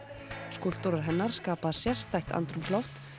skúlptúrar hennar skapa sérstætt andrúmsloft